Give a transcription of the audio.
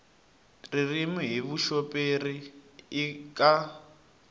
ririmi hi vuxoperi i ka